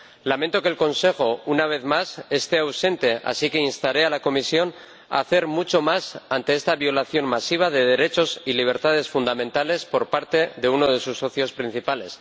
Lamento que el Consejo, una vez más, esté ausente, así que instaré a la Comisión a hacer mucho más ante esta violación masiva de derechos y libertades fundamentales por parte de uno de sus socios principales.